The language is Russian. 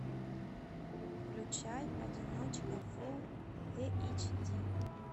включай одиночка фулл эйч ди